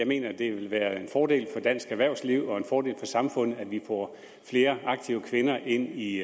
mener at det ville være en fordel for dansk erhvervsliv og en fordel for samfundet at vi får flere aktive kvinder ind i